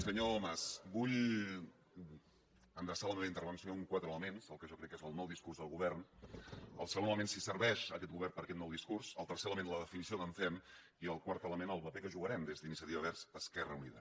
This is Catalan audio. senyor mas vull endreçar la meva intervenció en quatre elements el que jo crec que és el nou discurs del govern el segon element si serveix aquest govern per a aquest nou discurs el tercer element la definició que en fem i el quart element el paper que jugarem des d’iniciativa verds esquerra unida